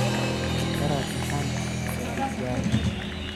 Dharat maxan aadhe saldhigyal.